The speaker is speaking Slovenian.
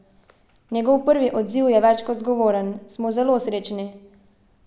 Njegov prvi odziv je več kot zgovoren: "Smo zelo srečni.